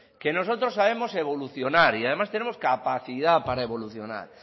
que nosotros sabemos evolucionar y además tenemos capacidad para evolucionar